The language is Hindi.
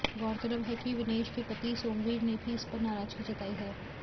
गौरतलब है कि विनेश के पति सोमवीर ने भी इसपर नाराजगी जताई है